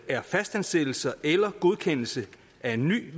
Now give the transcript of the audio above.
er fastansættelser eller godkendelse af en ny